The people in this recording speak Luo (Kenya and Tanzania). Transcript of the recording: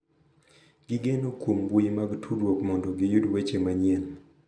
Gigeno kuom mbui mag tudruok mondo giyud weche manyien.